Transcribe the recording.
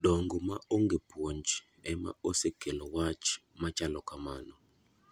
Dongo ma ong'e puonj ema osekelo wach machalo kamano.